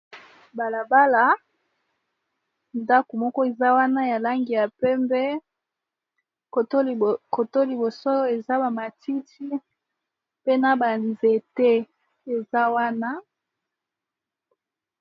Balabala ndako moko eza wana ya langi ya pembe koto liboso eza ba matiti pe na ba nzete eza wana.